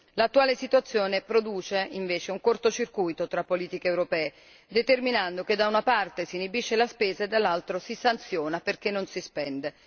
L'attuale situazione produce invece un corto circuito tra politiche europee, determinando che, da una parte, si inibisce la spesa, e dall'altra si sanziona perché non si spende.